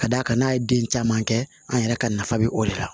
Ka d'a kan n'a ye den caman kɛ an yɛrɛ ka nafa bɛ o de la